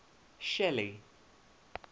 shelly